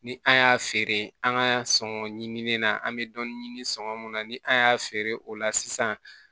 Ni an y'a feere an ka sɔngɔn ɲini na an bɛ dɔɔnin ɲini sɔngɔn mun na ni an y'a feere o la sisan